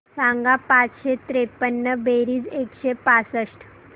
सांग पाचशे त्रेपन्न बेरीज एकशे पासष्ट